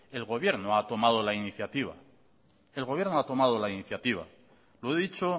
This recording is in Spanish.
el gobierno ha tomado la iniciativa el gobierno ha tomado la iniciativa lo he dicho